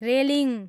railing